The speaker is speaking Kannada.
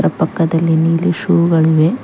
ಪಕ್ಕದಲ್ಲಿ ನೀಲಿ ಶೂ ಗಳು ಇವೆ.